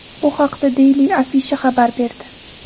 Bu haqda Daily Afisha xabar berdi .